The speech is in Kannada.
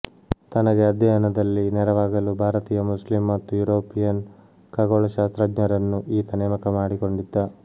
ತನಗೆ ಅಧ್ಯಯನದಲ್ಲಿ ನೆರವಾಗಲು ಭಾರತೀಯ ಮುಸ್ಲಿಮ್ ಮತ್ತು ಯೂರೋಪಿಯನ್ ಖಗೋಳಶಾಸ್ತ್ರಜ್ಞರನ್ನು ಈತ ನೇಮಕ ಮಾಡಿಕೊಂಡಿದ್ದ